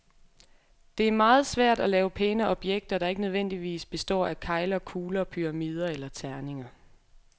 Det er meget svært at lave pæne objekter, der ikke nødvendigvis består af kegler, kugler, pyramider eller terninger.